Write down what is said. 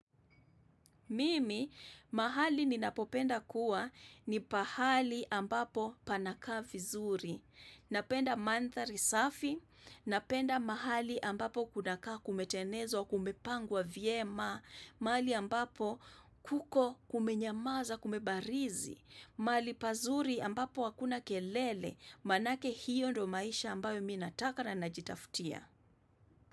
Mimi mahali ninapopenda kuwa ni pahali ambapo panakaa vizuri, napenda mandhari safi, napenda mahali ambapo kunakaa kumetenezwa kumepangwa vyema, mahali ambapo kuko kumenyamaza kumebarizi, mahali pazuri ambapo hakuna kelele, manake hiyo ndo maisha ambayo mi nataka na najitafutia.